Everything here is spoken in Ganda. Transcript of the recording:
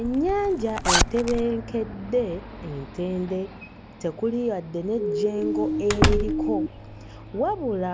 Ennyanja etebenkedde entende, tekuli yadde n'ejjengo eririko, wabula